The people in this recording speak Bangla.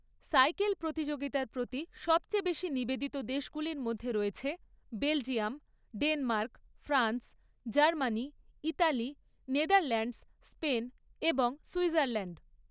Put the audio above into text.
সাইকেল প্রতিযোগিতার প্রতি সবচেয়ে বেশি নিবেদিত দেশগুলির মধ্যে রয়েছে Belgium, Denmark, France, Germany, Italy, Netherlands, Spain এবং সুইজারল্যাণ্ড।